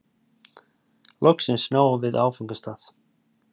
Loksins náðum við áfangastað.